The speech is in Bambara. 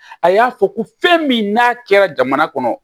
A y'a fɔ ko fɛn min n'a kɛra jamana kɔnɔ